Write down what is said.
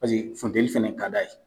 funteni fana ka d'a ye